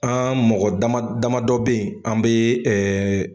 An mɔgɔ dama dɔ bɛ yen an bɛ